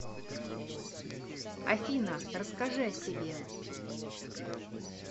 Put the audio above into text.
афина расскажи о себе